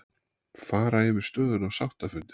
Fara yfir stöðuna á sáttafundi